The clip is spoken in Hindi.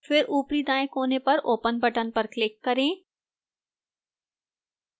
फिर ऊपरी दाएं कोने पर open button पर click करें